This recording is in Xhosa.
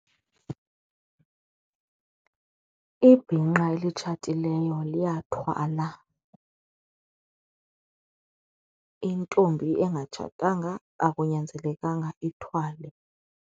Ibhinqa elitshatileyo liyathwala, intombi engatshatanga akunyanzelekanga ithwale.